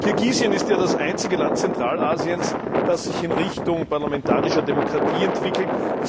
Kirgisistan ist ja das einzige Land Zentralasiens, das sich in Richtung parlamentarischer Demokratie entwickelt.